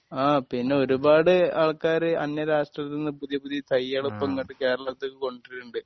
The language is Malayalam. ആ പിന്നെ ഒരുപാട് ആൾക്കാര് അന്യ രാഷ്ട്രത്തിന്ന് പുതിയ പുതിയ തൈകള് ഇപ്പോ ഇങ്ങോട്ട് കേരളത്തിക്ക് കൊണ്ടുവരണുണ്ട്